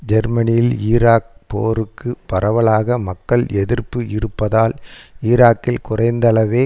ஜெர்மனியில் ஈராக் போருக்கு பரவலாக மக்கள் எதிர்ப்பு இருப்பதால் ஈராக்கில் குறைந்தளவே